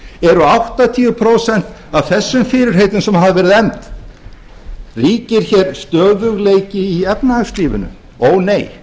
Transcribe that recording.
eru áttatíu prósent af þessum fyrirheitum sem hefur verið efnt ríkir hér stöðugleiki í efnahagslífinu ónei er